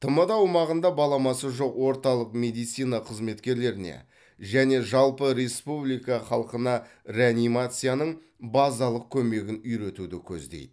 тмд аумағында баламасы жоқ орталық медицина қызметкерлеріне және жалпы республика халқына реанимацияның базалық көмегін үйретуді көздейді